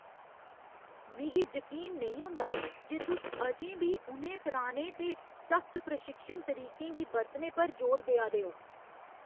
मिगी जकीन नेईं होंदा जे तुस अजें बी उ'नें पुराने ते सख्त प्रशिक्षण तरीकें गी बरतने पर जोर देआ दे ओ!